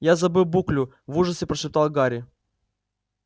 я забыл буклю в ужасе прошептал гарри